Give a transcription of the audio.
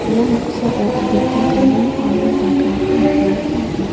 ia noksao adita gari aro bike-rangko nikna gita man·a.